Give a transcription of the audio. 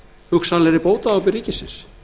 hugsanlegri bótaábyrgð ríkisins